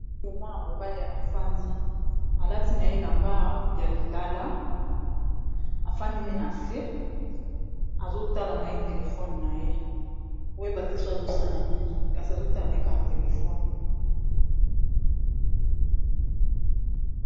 oyo mwana mobale afandi alati na ye lamba ya lilala afandi ne na se azotala na ye telefone na ye oyebateso azosala nini kasi azotala naye kaka telefone